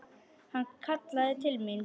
Hann kallaði til mín.